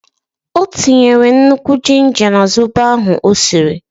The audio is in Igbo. O tinyere nnukwu jinja na zobo ahụ o siri.